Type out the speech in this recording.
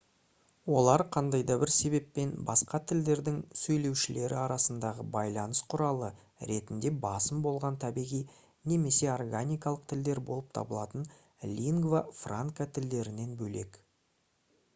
олар қандай да бір себеппен басқа тілдердің сөйлеушілері арасындағы байланыс құралы ретінде басым болған табиғи немесе органикалық тілдер болып табылатын лингва франка тілдерінен бөлек